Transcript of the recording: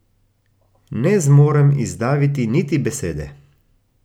Ne zmorem izdaviti niti besede.